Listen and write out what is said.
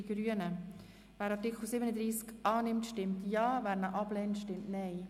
Wer dem Artikel zustimmt, stimmt Ja, wer diesen ablehnt, stimmt Nein.